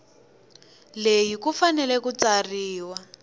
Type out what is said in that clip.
leyi ku fanele ku tsariwa